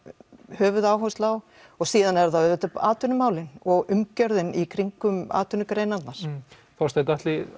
höfuðáherslu á og síðan eru það auðvitað atvinnumálin og umgjörðin í kringum atvinnugreinarnar Þorsteinn